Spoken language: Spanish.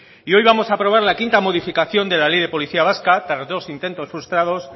y hoy vamos a aprobar la quinta modificación de la ley de policía vasca tras dos intentos frustrados